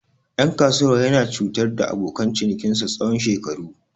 Ɗan kasuwar yana cutar da abokan cinikinsa tsawon shekaru.